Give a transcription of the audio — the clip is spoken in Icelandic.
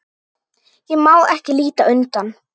Ég má ekki líta undan.